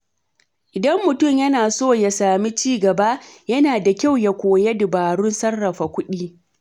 Idan mutum yana so ya sami ci gaba, yana da kyau ya koya dabarun sarrafa kuɗi.